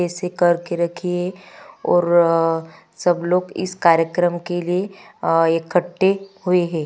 कैसे करके रखिए और सब लोग इस कर्यक्रम के लिए आ इकट्ठे हुए है।